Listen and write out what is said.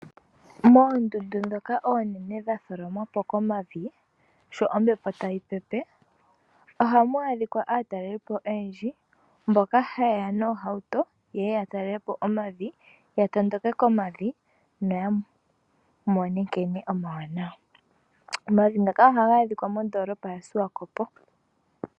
Mondundu dhoka onene dhatholomwa po komavi sho ombepo tayi pepe, ohamu adhika aatalelipo oyendji mboka hayeya noohauto yatalele po omavi, yatondoke komavi nayamone nkene omawanawa. Omavi ngaka ohaga adhika mondoolopa yaSwakopo.